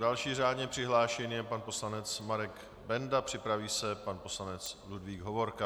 Další řádně přihlášený je pan poslanec Marek Benda, připraví se pan poslanec Ludvík Hovorka.